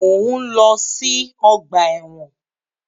Mọ̀ ń lọ sí ọgbà ẹ̀wọ̀n.